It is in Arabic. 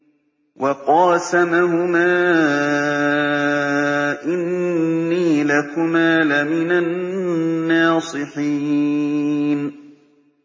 وَقَاسَمَهُمَا إِنِّي لَكُمَا لَمِنَ النَّاصِحِينَ